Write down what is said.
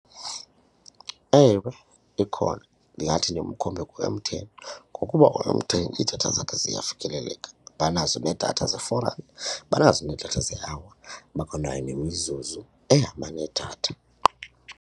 Ewe, ikhona ndingathi ndimkhombe ku-M_T_N ngokuba u-M_T_N iidatha zakhe ziyafikeleleka banazo nedatha ze-four rand, banazo needatha ze-hour bakwanayo nemizuzu ehamba nedatha.